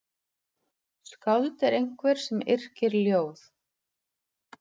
Skáld er einhver sem yrkir ljóð.